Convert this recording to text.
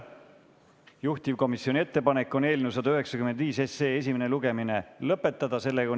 Juhtivkomisjoni ettepanek on eelnõu 195 esimene lugemine lõpetada.